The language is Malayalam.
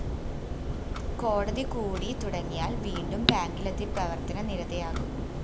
കോടതി കൂടി തുടങ്ങിയാല്‍ വീണ്ടും ബാങ്കിലെത്തി പ്രവര്‍ത്തന നിരതയാകും